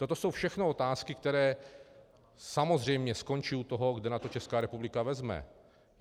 Toto jsou všechno otázky, které samozřejmě skončí u toho, kde na to Česká republika vezme.